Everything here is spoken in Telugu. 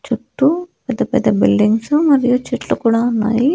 చుట్టూ పెద్ద పెద్ద బిల్డింగ్సు మరియు చెట్లు కూడా ఉన్నాయి.